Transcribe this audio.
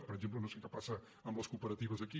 per exemple no sé què passa amb les cooperatives aquí